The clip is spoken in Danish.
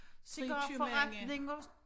Cigarforretninger